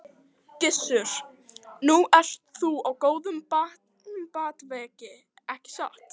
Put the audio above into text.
Gissur: Nú ert þú á góðum batavegi ekki satt?